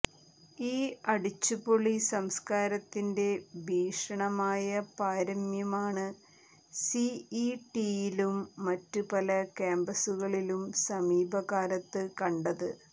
ഈ അടിച്ചുപൊളി സംസ്കാരത്തിന്റെ ഭീഷണമായ പാരമ്യമാണ് സി ഇ ടിയിലും മറ്റ് പല കാമ്പസുകളിലും സമീപകാലത്ത് കണ്ടത്